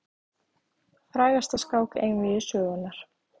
Frægasta skák einvígi sögunnar.